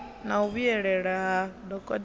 na u vhuyelela ha dokotela